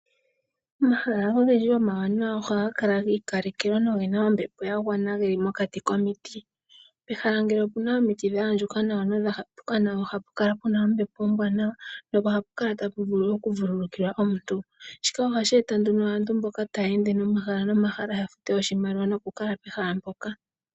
Omahala ogendji omawanawa ohaga kala gi ikalekelwa no gena ombepo ya gwana geli mokati komiti. Pehala ngele opuna omiti dha andjuka nawa nodha hapa nawa ohapu kala puna ombepo ombwaanawa nohapu kala tapu vulu oku vululkilwa omuntu. Shika ohashi eta nduno aantu mboka taya ende omahala no mahala ya fute oshimaliwa noku kala pehala mpoka.